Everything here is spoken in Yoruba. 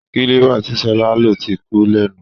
Kílíbà tí sọlá ń lò ti kú lẹ́nu